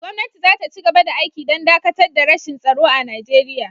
Gwamnati za ta ci gaba da aiki don dakatar da rashin tsaro a Nigeriya.